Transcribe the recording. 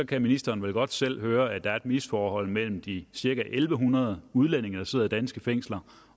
kan ministeren vel godt selv høre at der er et misforhold mellem de cirka en en hundrede udlændinge der sidder i danske fængsler